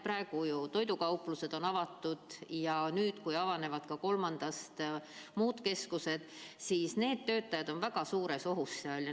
Praegu on toidukauplused avatud ja kui nüüd 3. maist avanevad ka muud poed, siis sealsed töötajad on väga suures ohus.